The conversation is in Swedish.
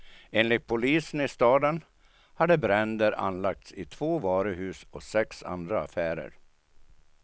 Enligt polisen i staden hade bränder anlagts i två varuhus och sex andra affärer.